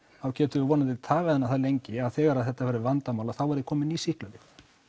þá getum við vonandi tafið hana það lengi að þegar þetta verður vandamál þá verða komin ný sýklalyf